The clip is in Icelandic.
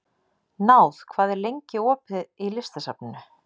Náð, hvað er lengi opið í Listasafninu?